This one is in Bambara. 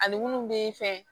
Ani munnu bee fɛ